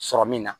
Sɔrɔ min na